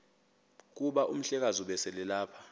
kuba umhlekazi ubeselelapha